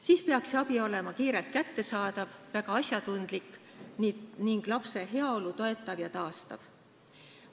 Siis peaks abi olema kiirelt kättesaadav, väga asjatundlik ning lapse heaolu toetav ja taastav.